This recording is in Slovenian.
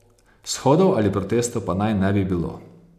Shodov ali protestov pa naj ne bi bilo.